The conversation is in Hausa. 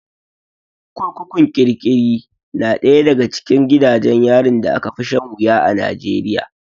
Kurkukun kirkiri na ɗaya daga cikin gidajen yarin da aka fi shan wuya a Najeriya.